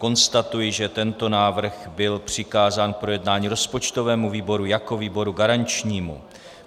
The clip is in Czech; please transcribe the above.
Konstatuji, že tento návrh byl přikázán k projednání rozpočtovému výboru jako výboru garančnímu.